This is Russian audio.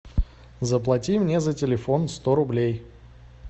заплати мне за телефон сто рублей